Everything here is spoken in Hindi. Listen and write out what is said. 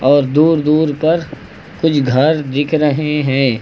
और दूर दूर तक कुछ घर दिख रहे है।